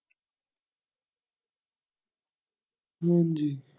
ਹਾਂਜੀ।